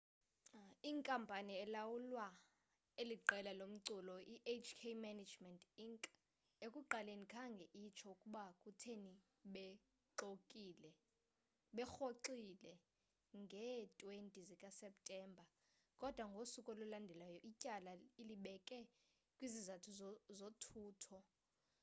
inkampani elawula eli qela lomculo ihk management inc ekuqaleni khange itsho ukuba kutheni berhoxile ngee-20 zikaseptemba kodwa ngosuku olulandelayo ityala ilibeke kwizizathu zothutho